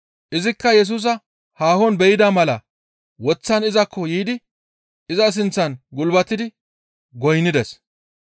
Izikka Yesusa haahon be7ida mala woththan izakko yiidi iza sinththan gulbatidi goynnides.